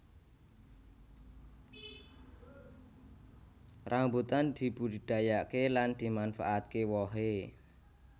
Rambutan dibudidayakaké lan dimanfaatké wohé